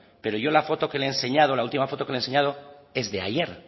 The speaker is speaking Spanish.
pero yo la foto que le he enseñado la última foto que le he enseñado es de ayer